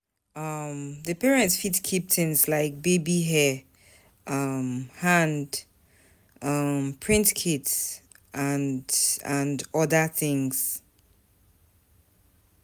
um Di parent fit keep things like baby hair, um hand um print kits and and oda things